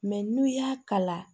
n'u y'a kala